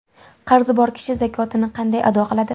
Qarzi bor kishi zakotini qanday ado qiladi?.